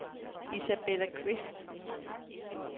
Isabella Qvist